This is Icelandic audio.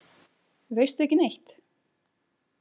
Veistu ekki neitt?